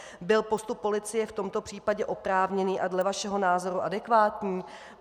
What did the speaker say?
Byl postup policie v tomto případě oprávněný a dle vašeho názoru adekvátní?